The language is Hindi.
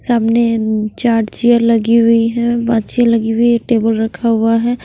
सामने चार्जर लगी हुई है बांछे लगी हुई है टेबल रखा हुआ है।